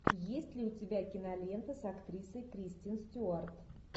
есть ли у тебя кинолента с актрисой кристен стюарт